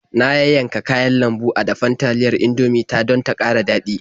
Na yayyanka kayan lambu a dafen taliyar Indomie ta don ta ƙara daɗi.